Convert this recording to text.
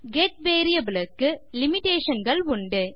get variable க்கு limitation கள் உண்டு